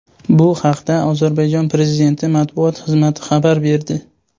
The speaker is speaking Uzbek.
Bu haqda Ozarbayjon prezidenti matbuot xizmati xabar berdi .